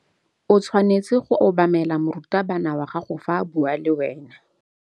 O tshwanetse go obamela morutabana wa gago fa a bua le wena.